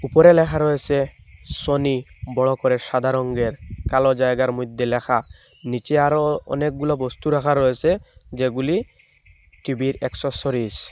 উপরে লেখা রয়েসে সোনি বড় করে সাদা রঙ্গের কালো জায়গার মইদ্যে লেখা নীচে আরও অনেকগুলো বস্তু রাখা রয়েসে যেগুলি টি_ভির অ্যাক্সেসরিস ।